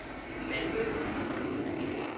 Malmø